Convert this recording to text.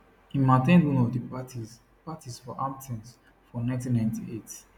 im at ten d one of di parties parties for hamptons for 1998